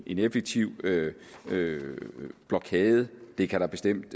en effektiv blokade det kan der bestemt